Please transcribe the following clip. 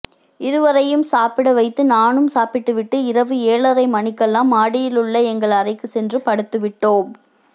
இருவரையும் சாப்பிடவைத்து நானும் சாப்பிட்டுவிட்டு இரவு ஏழரை மணிக்கெல்லாம் மாடியிலுள்ள எங்கள் அறைக்கு சென்று படுத்துவிட்டோம்